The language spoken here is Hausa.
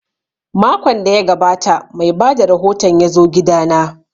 Makon da ya gabata mai bada rahoton ya zo gida na